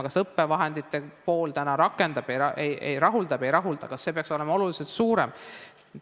Kas õppevahendite pool täna rahuldab või ei rahulda, kas see peaks olema oluliselt suurem?